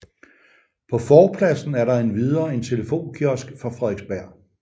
På forpladsen er der endvidere en telefonkiosk fra Frederiksberg